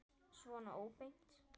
Svona óbeint.